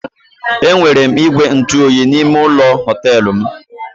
E nwere ígwè ntụoyi n'ime ụlọ họtelụ m.